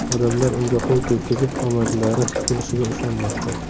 Odamlar unga qo‘l tekkizib, omadlari kulishiga ishonmoqda.